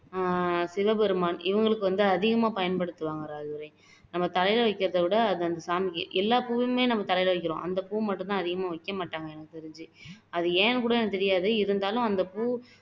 ஆஹ் சிவபெருமான் இவங்களுக்கு வந்து அதிகமா பயன்படுத்துவாங்க ராஜதுரை நம்ம தலையில வைக்கிறதை விட அதை அந்த சாமிக்கு எல்லா பூவுமே நம்ம தலையில வைக்குறோம் அந்த பூ மட்டும் தான் அதிகமா வைக்க மாட்டாங்க எனக்கு தெரிஞ்சு அது ஏன்னு கூட எனக்கு தெரியாது இருந்தாலும் அந்த பூ